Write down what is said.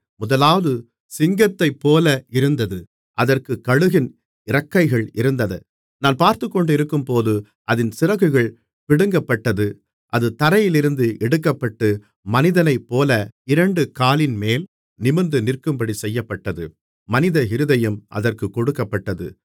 முதலாவது சிங்கத்தைப்போல இருந்தது அதற்குக் கழுகின் இறக்கைகள் இருந்தது நான் பார்த்துக்கொண்டிருக்கும்போது அதின் சிறகுகள் பிடுங்கப்பட்டது அது தரையிலிருந்து எடுக்கப்பட்டு மனிதனைப்போல இரண்டு காலின்மேல் நிமிர்ந்துநிற்கும்படி செய்யப்பட்டது மனித இருதயம் அதற்குக் கொடுக்கப்பட்டது